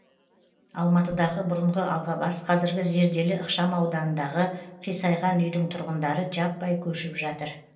алматыдағы бұрынғы алғабас қазіргі зерделі ықшамауданындағы қисайған үйдің тұрғындары жаппай көшіп жатыр